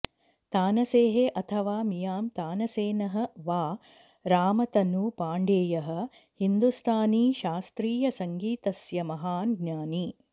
तानसेः अथवा मियां तानसेनः वा रामतनु पाण्डेयः हिन्दुस्तानीशास्त्रीयसङ्गीतस्य महान् ज्ञानी